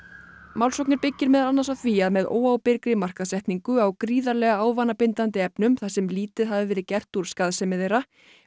málsóknin byggist meðal annars á því að með óábyrgri markaðssetningu á gríðarlega ávanabindandi efnum þar sem lítið hafi verið gert úr skaðsemi þeirra